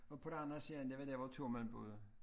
Og på den anden side det var dér hvor to mænd boede